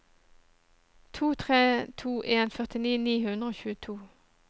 to tre to en førtini ni hundre og tjueto